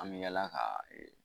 An bɛ yaala ka